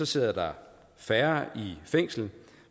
sidder der færre i fængsel